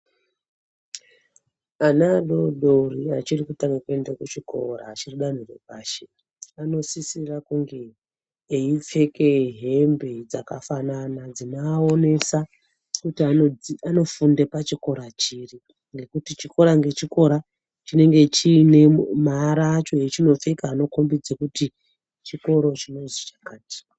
Ana adori-dori achiri kutanga kuenda kuchikora achiri dzanho repashi anosisira kunge eyipfeke hembe dzakafanana dzinoawonesa kuti anofunde pachikora chiri, nekuti chikora nechikora chinenge chine maara achone echinopfeka anokombidze kuti chikoro chinozi chakati.